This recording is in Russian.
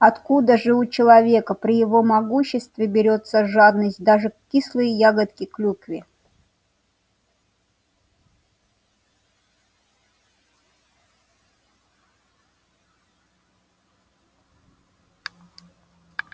откуда же у человека при его могуществе берётся жадность даже к кислой ягоде клюкве